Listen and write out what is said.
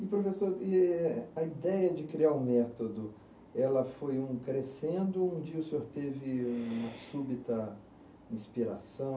E, professor, e eh, a ideia de criar o método, ela foi um crescendo ou um dia o senhor teve uma súbita inspiração?